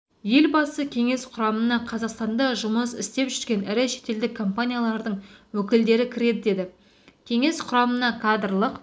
елбасы кеңес құрамына қазақстанда жұмыс істеп жүрген ірі шетелдік компаниялардың өкілдері кіреді деді кеңес құрамына кадрлық